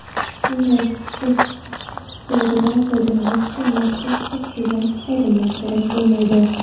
Bunday testerdan foydalanish uchun maxsus o‘qitilgan xodimlar kerak bo‘lmaydi.